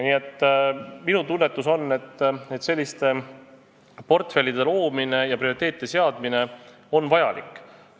Nii et minu tunnetus on, et selliste portfellide loomine ja prioriteetide seadmine on vajalik.